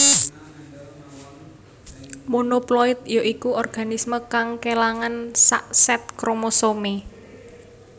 Monoploid ya iku organisme kang kélangan sak sèt kromosomé